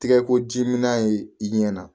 Tɛgɛ ko jiminan ye i ɲɛna